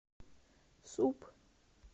суп